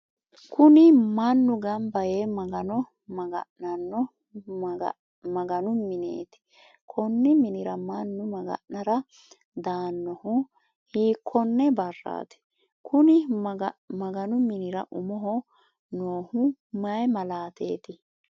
Kunni manu ganbayee maga'nano maganu miineeti konni minnira mannu maga'nara daanohu hiikone baraati? Konni maganu minnira umoho noohu mayi malaateeti?